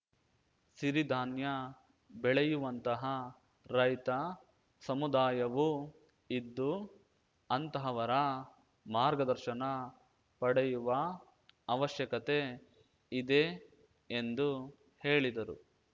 ಸಿರಿಧಾನ್ಯ ಬೆಳೆಯುವಂತಹ ರೈತ ಸಮುದಾಯವೂ ಇದ್ದು ಅಂತಹವರ ಮಾರ್ಗದರ್ಶನ ಪಡೆಯುವ ಅವಶ್ಯಕತೆ ಇದೆ ಎಂದು ಹೇಳಿದರು